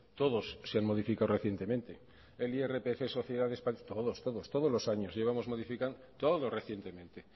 todos se han modificado recientemente el irpf sociedades todos todos los años llevamos modificando todo recientemente